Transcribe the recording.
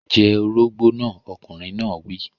Jẹ orógbó náà! Ọkùnrin náà wí.